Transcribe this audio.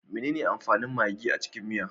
Menene amfanin magi a cikin miya?